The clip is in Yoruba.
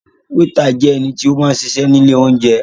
Wétà jẹ ẹnití ó máa ń ṣiṣẹ ní ilé olounjẹ